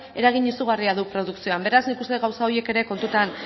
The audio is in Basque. eragin izugarria du produkzioan beraz nik uste dut gauza horiek ere kontutan